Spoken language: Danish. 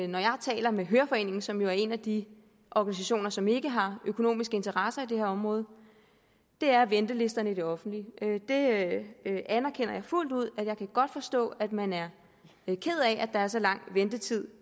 når jeg taler med høreforeningen som jo er en af de organisationer som ikke har økonomiske interesser i det her område er ventelisterne i det offentlige det anerkender jeg fuldt ud jeg kan godt forstå at man er ked af at der er så lang ventetid